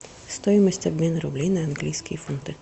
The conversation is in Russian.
стоимость обмена рублей на английские фунты